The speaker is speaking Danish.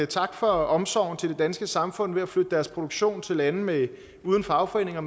tak for omsorgen til det danske samfund ved at flytte deres produktion til lande uden fagforeninger